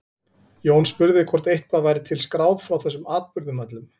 Jón spurði hvort eitthvað væri til skráð frá þessum atburðum öllum.